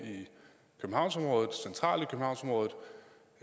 centralt